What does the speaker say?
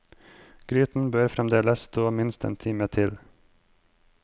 Gryten bør fremdeles stå minst en time til.